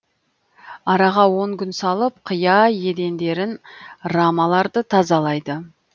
араға он күн салып қыя едендерін рамаларды тазалайды